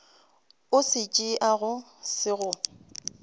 o se tšeago se go